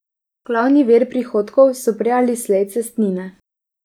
Glavni vir prihodkov so prej ali slej cestnine.